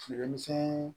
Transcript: Feere misɛnin